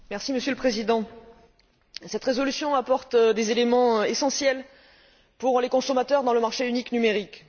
Monsieur le Président, cette résolution apporte des éléments essentiels pour les consommateurs dans le marché unique numérique.